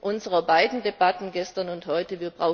unserer beiden Debatten gestern und heute.